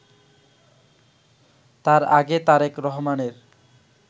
তার আগে তারেক রহমানের